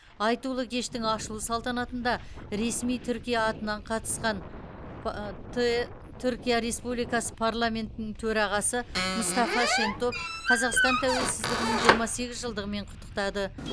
айтулы кештің ашылу салтанатында ресми түркия атынан қатысқан түркия республикасының парламентінің төрағасы мұстафа шентоп қазақстан тәуелсіздігінің жиырма сегіз жылдығымен құттықтады